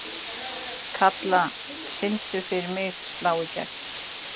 Kalla, syngdu fyrir mig „Slá í gegn“.